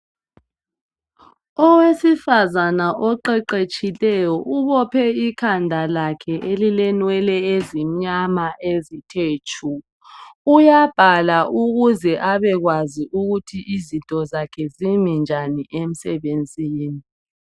owesifazana oqeqetshileyo ubophe ikhanda lakhe elilenwele ezimnyama ezithe tshu uyabhala ukuze abe kwazi ukuthi izinto zakhe zimi njani emsebenzini